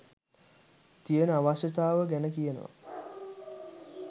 තියෙන අවශ්‍යතාව ගැනකියනවා.